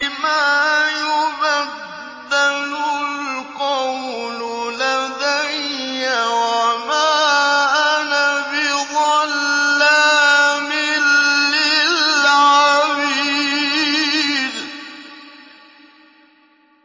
مَا يُبَدَّلُ الْقَوْلُ لَدَيَّ وَمَا أَنَا بِظَلَّامٍ لِّلْعَبِيدِ